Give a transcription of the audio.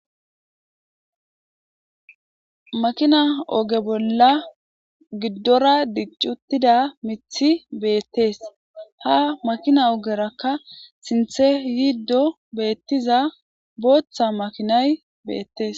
Makina oge bolla giddora diccuttida mithi beettees ha makina ogerakka sinthe yiiddo beettiza booththa makinay beettes